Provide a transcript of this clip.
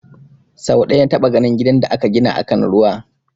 Sau ɗaya na taɓa ganin gidan da aka gina akan ruwa